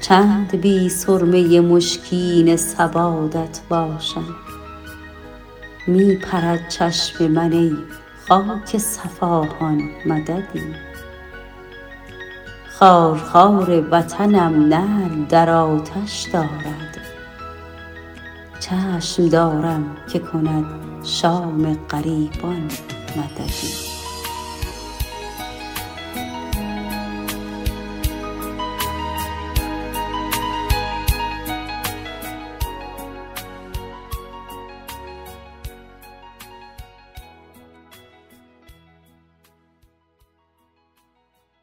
چند بی سرمه مشکین سوادت باشم می پرد چشم من ای خاک صفاهان مددی خارخار وطنم نعل در آتش دارد چشم دارم که کند شام غریبان مددی